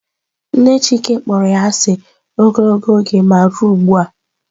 Nne chike kpọrọ ya asị ogologo oge ma ruo ụgbua.